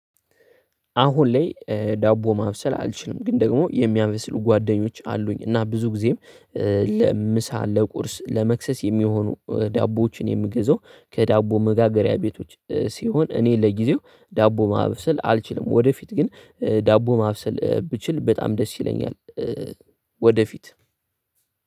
አሁን ላይ ዳቦ ማብሰል አልችልም። ግን ደግሞ የሚያመስሉ ጓደኞች አሉኝ እና ብዙ ጊዜም ለ ምሳ ለቁርስ ለመክሰስ የሚሆኑ ዳቦዎችን የምገዛው ከዳቦ መጋገሪያ ቤቶች ሲሆን እኔ ለጊዜው ዳቦ ማብሰል አልችልም። ወደፊት ግን ዳቦ ማብሰል ብችል በጣም ደስ ይለኛል። ወደፊት